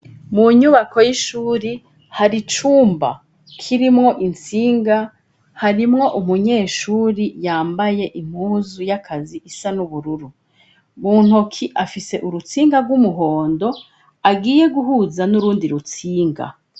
Mu nyubako y'ishuri hari icumba kirimwo intsinga harimwo umunyeshuri yambaye impuzu y'akazi isa n'ubururu mu ntoki afise urutsinga rw'umuhondo agiye guhuza n'urundi rutsinga.